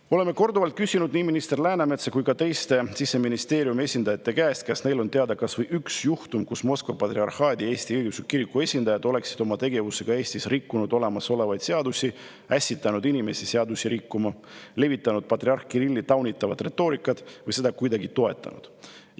Me oleme korduvalt küsinud nii minister Läänemetsa kui ka teiste Siseministeeriumi esindajate käest, kas neile on teada kas või üks juhtum, kus Moskva Patriarhaadi Eesti Õigeusu Kiriku esindajad oleksid oma tegevusega Eestis rikkunud olemasolevaid seadusi, ässitanud inimesi seadusi rikkuma, levitanud taunitavat patriarh Kirilli retoorikat või seda kuidagi toetanud.